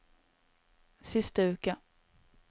siste uke